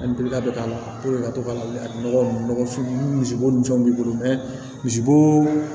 An bɛka k'a la ka to ka nɔgɔ ninnu ni misibo ni fɛnw b'i bolo mɛ misibo